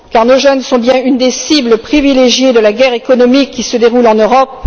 En effet, nos jeunes sont bien une des cibles privilégiées de la guerre économique qui se déroule en Europe.